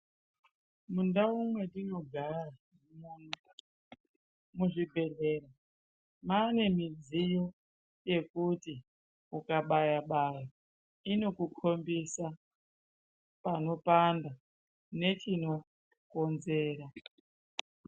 Mundau matinogara muzvibhedhlera mane midziyo yekuti ukabaya baya inokukpmbidza panopanda nechinokonzera.